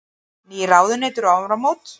Ný ráðuneyti um áramót